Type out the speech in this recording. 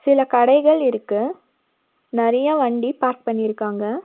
சில கடைகள் இருக்கு நறைய வண்டி பார்க் பண்ணிருக்காங்க.